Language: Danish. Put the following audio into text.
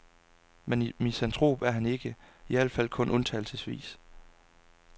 Men misantrop er han ikke, i alt fald kun undtagelsesvis.